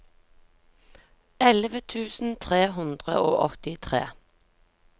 elleve tusen tre hundre og åttitre